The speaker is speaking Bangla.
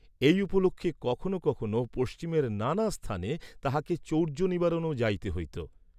এই উপলক্ষে কখন কখনও পশ্চিমের নানা স্থানে তাঁহাকে চৌর্য্য নিবারণেও যাইতে হইত।